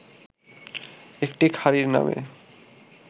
একটি খাঁড়ির নামে